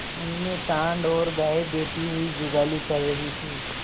उनमें सॉँड़ और गायें बैठी हुई जुगाली कर रही थी